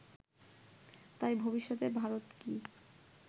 তাই ভবিষ্যতে ভারত কি